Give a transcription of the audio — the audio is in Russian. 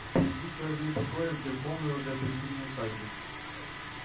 впереди целый день покоя в безмолвной уже по-зимнему усадьбе